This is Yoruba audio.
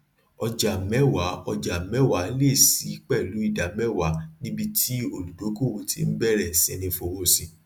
ọjà mẹwaa ọjà mẹwaa le ṣíi pẹlu idamẹwaa níbi tí olùdókòwò ti ń bẹrẹ siní fowó sí